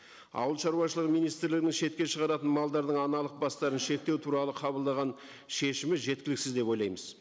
ауылшаруашылығы министрлігінің шетке шығаратын малдардың аналық бастарын шектеу туралы қабылдаған шешімі жеткіліксіз деп ойлаймыз